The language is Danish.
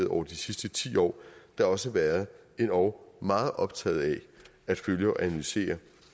over de sidste ti år da også været endog meget optaget af at følge og analysere